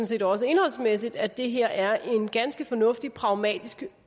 set også indholdsmæssigt at det her er en ganske fornuftig pragmatisk